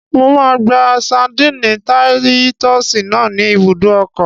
Mo máa gba ṣadínnì táyítọ́sì náà ní ibùdó ọkọ̀